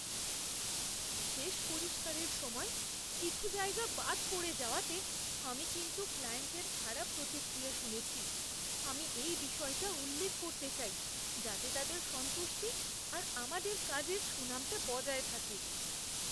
শেষ পরিষ্কারের সময় কিছু জায়গা বাদ পড়ে যাওয়াতে আমি কিন্তু ক্লায়েন্টের খারাপ প্রতিক্রিয়া শুনেছি। আমি এই বিষয়টা উল্লেখ করতে চাই যাতে তাদের সন্তুষ্টি আর আমাদের কাজের সুনামটা বজায় থাকে।